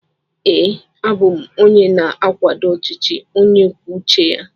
Ee, a bụ m onye na-akwado ọchịchị onye kwuo uche ya.